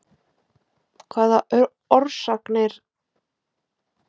Hvaða orsakir liggja til seinna tilkominna breytinga að áliti læknaráðs?